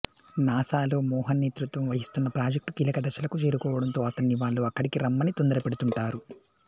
నాసాలో మోహన్ నేతృత్వం వహిస్తున్న ప్రాజెక్టు కీలక దశలకు చేరుకోవడంతో అతన్ని వాళ్ళు అక్కడికి రమ్మని తొందరపెడుతుంటారు